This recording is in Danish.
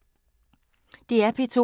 DR P2